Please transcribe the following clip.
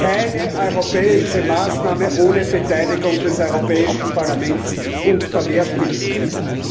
Keine europäische Maßnahme ohne Beteiligung des Europäischen Parlaments und Mehrstimmigkeit!